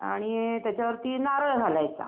आणि त्याच्यावरती नारळ घालायचा.